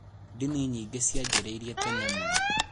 Ndini nyingĩ cianjĩrĩirie tene mũno.